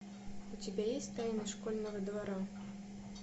у тебя есть тайны школьного двора